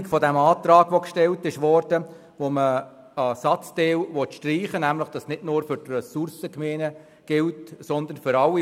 Nun liegt eine Änderung des Antrags vor, wonach ein Satzteil gestrichen werden soll, damit der Absatz nicht nur für die Ressourcengemeinden gilt, sondern für alle: